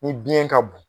Ni biyɛn ka bon